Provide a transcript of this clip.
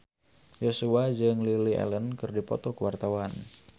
Joshua jeung Lily Allen keur dipoto ku wartawan